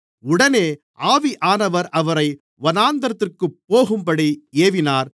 உடனே ஆவியானவர் அவரை வனாந்திரத்திற்குப் போகும்படி ஏவினார்